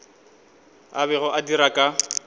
a bego a dira ka